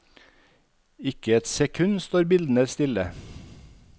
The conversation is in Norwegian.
Ikke et sekund står bildene stille.